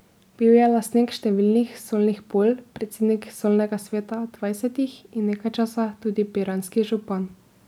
Bil je lastnik številnih solnih polj, predsednik solnega sveta Dvajsetih in nekaj časa tudi piranski župan.